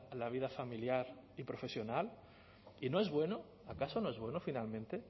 la vida familiar y profesional y no es bueno acaso no es bueno finalmente